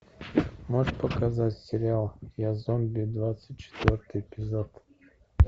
можешь показать сериал я зомби двадцать четвертый эпизод